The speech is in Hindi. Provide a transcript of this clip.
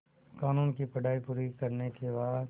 क़ानून की पढा़ई पूरी करने के बाद